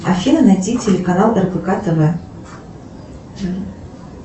афина найти телеканал рбк тв